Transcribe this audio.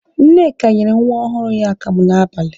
Nneka nyere nwa ọhụrụ ya akamụ n'abalị